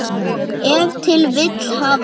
Ef til vill hafa þeir.